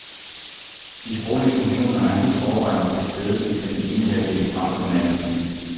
De sproglige funktioner er helt overvejende til stede i den ene halvdel fremfor den anden.